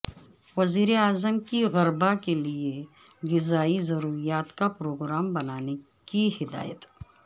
وزیر اعظم کی غربا کےلئے غذائی ضروریات کا پروگرام بنانے کی ہدایت